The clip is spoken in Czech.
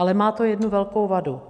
Ale má to jednu velkou vadu.